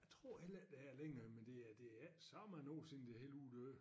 Tror heller ikke der er længere men det er det er ik så mange år siden det hele uddøde